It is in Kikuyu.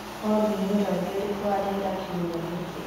olly ni ũrathi ũrĩkũ wa rĩera kĩumĩa giki